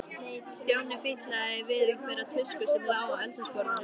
Stjáni fitlaði við einhverja tusku sem lá á eldhúsborðinu.